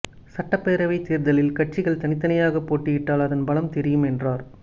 சட்டப்பேரவை தேர்தலில் கட்சிகள் தனித்தனியாக போட்டியிட்டால் அதன் பலம் தெரியும் என்றார்